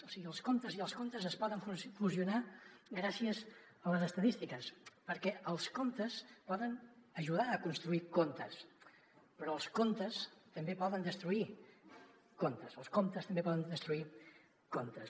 o sigui els comptes i els contes es poden fusionar gràcies a les estadístiques perquè els comptes poden ajudar a construir contes però els contes també poden destruir comptes o els comptes també poden destruir contes